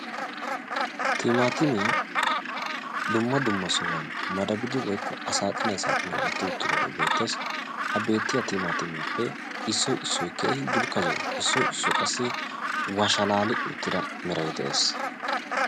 Timattimmiya dumma dumma sohuwan maddabbidoge beetes. ha timattimiyappe issoy issoy dulkka zo'o.